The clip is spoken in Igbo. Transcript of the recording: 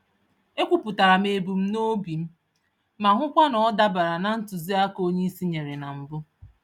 Ekwuputaram ebum nobi m, ma hụkwa na ọ dabara na ntụziaka onyeisi nyèrè na mbụ